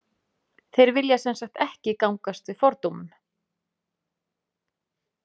Þeir vilja sem sagt ekki gangast við fordómum.